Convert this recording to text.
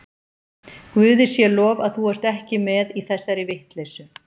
Guði sé lof að þú ert ekki með í þessari vitleysu.